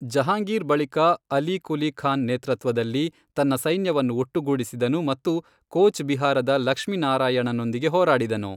ಜಹಾಂಗೀರ್ ಬಳಿಕ ಅಲಿ ಕುಲಿ ಖಾನ್ ನೇತೃತ್ವದಲ್ಲಿ ತನ್ನ ಸೈನ್ಯವನ್ನು ಒಟ್ಟುಗೂಡಿಸಿದನು ಮತ್ತು ಕೋಚ್ ಬಿಹಾರದ ಲಕ್ಷ್ಮಿ ನಾರಾಯಣನೊಂದಿಗೆ ಹೋರಾಡಿದನು.